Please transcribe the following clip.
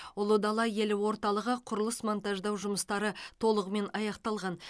ұлы дала елі орталығы құрылыс монтаждау жұмыстары толығымен аяқталған